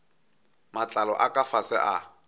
matlalo a ka fase a